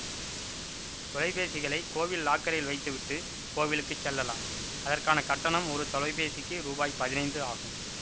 தொலைபேசிகளை கோவில் லாக்கரில் வைத்துவிட்டு கோவிலுக்கு செல்லலாம் அதற்கான கட்டணம் ஒரு தொலைபேசிக்கு ரூபாய் பதினைந்து ஆகும்